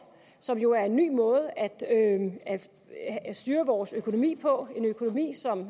som jo er en ny måde at styre vores økonomi på en økonomi som